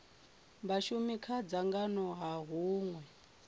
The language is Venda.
vhashumi kha dzangano ha hunwe